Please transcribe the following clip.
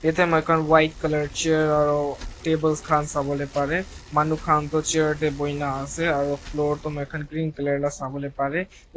ete moi khan white colour chair aru tables khan sawo le pare manu khan toh chair te buhi ne ase aru floor toh moi khan green colour la sawo le pare.